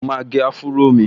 Mo máa gẹ áfúró mi